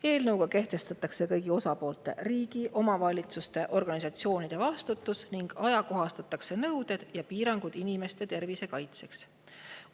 Eelnõuga kehtestatakse kõigi osapoolte – riigi, omavalitsuste, organisatsioonide – vastutus ning ajakohastatakse nõudeid ja piiranguid inimeste tervise kaitseks.